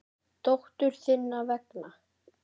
Dóttur þinnar vegna.